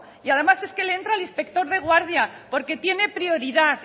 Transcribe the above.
y además es que le entra el inspector de guardia porque tiene prioridad